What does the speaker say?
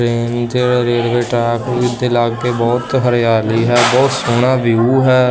Train ਚ railway track ਉਹਦੇ ਉੱਤੇ ਲਾਗੇ ਬਹੁਤ ਹਰਿਆਲੀ ਹੈ ਬਹੁਤ ਸੋਹਣਾ ਵਿਊ ਹੈ।